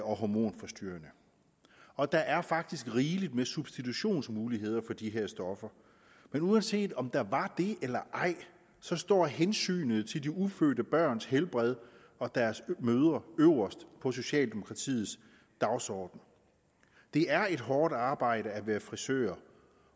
og hormonforstyrrende og der er faktisk rigeligt med substitutionsmuligheder for de her stoffer men uanset om der er det eller ej så står hensynet til de ufødte børns helbred og deres mødre øverst på socialdemokratiets dagsorden det er et hårdt arbejde at være frisør